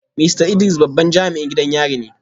Mista Idris babban jami’in gidan yari ne